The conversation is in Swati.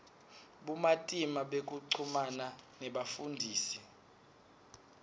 bumatima bekuchumana nebafundzisi